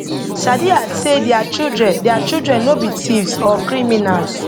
sadiya say dia children dia children no be thieves or criminals